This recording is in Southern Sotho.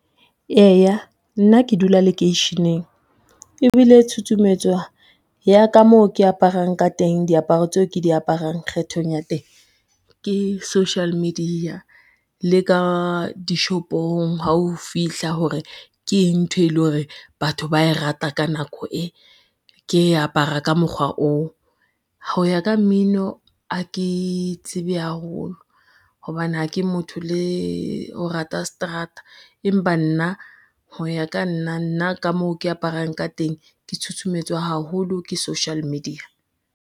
Eya nna ke dula lekeisheneng, ebile tshutshumetso ya ka moo ke aparang ka teng, diaparo tseo ke di aparang kgethong ya teng ke social media le ka dishopong ha o fihla hore keng ntho e le hore batho ba e rata ka nako e, ke apara ka mokgwa oo. Ho ya ka mmino, ha ke tsebe haholo hobane ha ke motho le ho rata seterata, empa nna ho ya ka nna nna ka moo ke aparang ka teng, ke tshutshumetswa haholo ke social media.